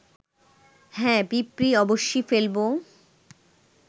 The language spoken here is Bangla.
হ্যাঁ পিঁপড়ী, অবশ্যি ফেলব